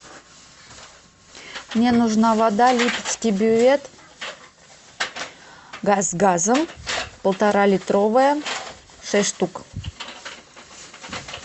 мне нужна вода липецкий бювет с газом полторалитровая шесть штук